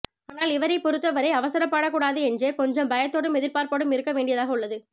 ஆணால் இவரைப்பொறுத்த வரை அவசரப்படக்கூடாது என்றே கொஞ்சம் பயதோடும் எதிர்பார்ப்போடும் இருக்க வேண்டியதாக உள்ளது